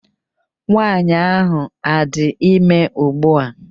Nwaanyị ahụ adị ime ụgbua?